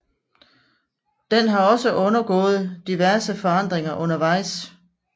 Den har også undergået diverse forandringer undervejs